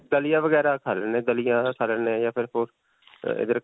ਦਲਿਆ ਵਗੈਰਾ ਖਾ ਲੈਂਦੇ ਹੈ. ਦਲਿਆ ਖਾ ਲੈਂਦੇ ਜਾਂ